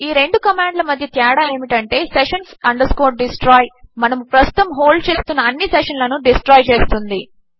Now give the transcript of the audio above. ఈ రెండు కామాండ్ ల మధ్య తేడా ఏమిటి అంటే sessions destroy మనము ప్రస్తుతము హోల్డ్ చేస్తున్న అన్ని సెషన్ లను డిస్ట్రాయ్ చేస్తుంది